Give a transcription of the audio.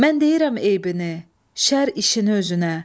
Mən deyirəm eybini, şər işini özünə.